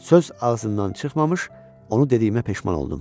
Söz ağzımdan çıxmamış onu dediyimə peşman oldum.